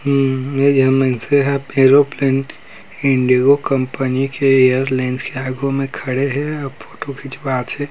Arrow plan Indigo company के airlines के आघू में खड़े हे और फोटो खिचवात हे ।